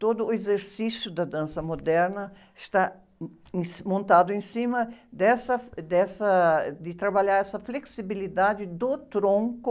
Todo o exercício da dança moderna está em, montado em cima dessa, dessa, de trabalhar essa flexibilidade do tronco,